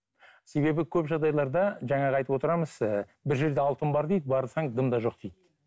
себебі көп жағдайларда жаңағы айтып отырамыз ыыы бір жерде алтын бар дейді барсаң дым да жоқ дейді